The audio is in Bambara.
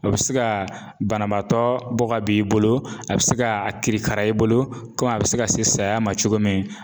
O be se ka banabaatɔ bɔ ka bi i bolo a bɛ se ka a kirikara i bolo komi a bɛ se ka se saya ma cogo min.